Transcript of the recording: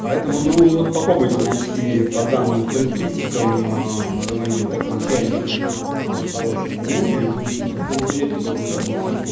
поэтому ну вот попробуйте найти по данным характеристикам какой-нибудь такой чайник хороший не найдёте значит это очень редкий такой чайник